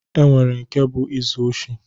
E nwere nke bụ izu oshi